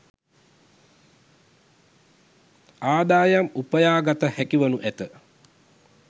ආදායම් උපයාගත හැකිවනු ඇත.